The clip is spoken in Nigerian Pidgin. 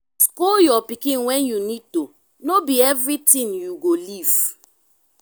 scold your pikin when you need to no be everything you go leave